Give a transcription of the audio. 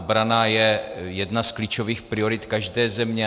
Obrana je jedna z klíčových priorit každé země.